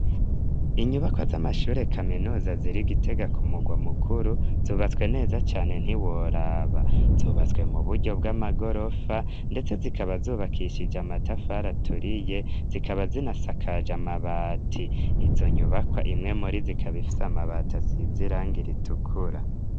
Inyubakwa z'amashure kaminuza ziri gitega kumugwa mukuru zubatswe neza cyane ntiworaba zubatswe mu buryo bw'amagorofa ndetse zikaba zubakishije amatafar aturiye zikaba zinasakaja mabati izo nyubakwa imwe muri zikabifise amabata zisize irangi ritukura.